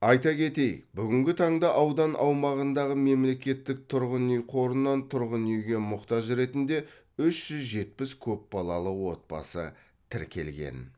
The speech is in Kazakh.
айта кетейік бүгінгі таңда аудан аумағындағы мемлекеттік тұрғын үй қорынан тұрғын үйге мұқтаж ретінде үш жүз жетпіс көпбалалы отбасы тіркелген